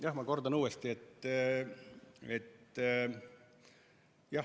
Jah, ma kordan uuesti.